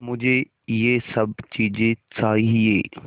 मुझे यह सब चीज़ें चाहिएँ